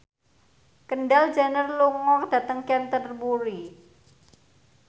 Kendall Jenner lunga dhateng Canterbury